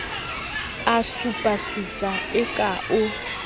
a supasupa e ka o